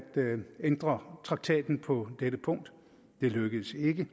ændre traktaten på dette punkt det lykkedes ikke